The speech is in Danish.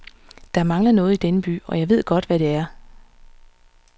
Der mangler noget i denne by, og jeg ved godt, hvad det er.